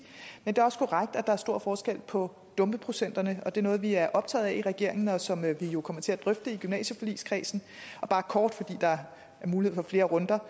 men det er også korrekt at der er stor forskel på dumpeprocenterne det er noget vi er optaget af i regeringen og som vi jo kommer til at drøfte i gymnasieforligskredsen bare kort fordi der er mulighed for flere runder